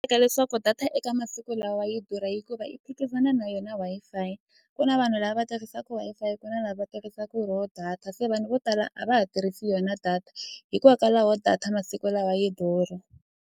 Eka leswaku data eka masiku lawa yi durha hikuva yi phikizana na yona Wi-Fi ku na vanhu lava tirhisaka Wi-Fi ku na lava va tirhisaka ro data se vanhu vo tala a va ha tirhisi yona data hikokwalaho data masiku lawa yi durha.